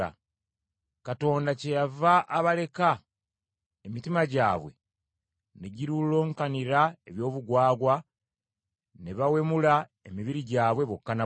Katonda kyeyava abaleka, emitima gyabwe ne girulunkanira eby’obugwagwa ne bawemula emibiri gyabwe bokka na bokka.